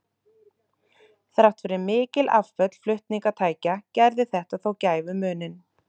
Þrátt fyrir mikil afföll flutningatækja gerði þetta þó gæfumuninn.